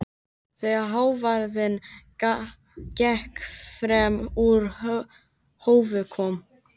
Þegar hávaðinn gekk fram úr hófi kom